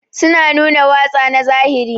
Su na nuna watsa na zahiri